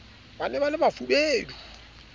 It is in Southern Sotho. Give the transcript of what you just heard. ba ne ba le bafubedi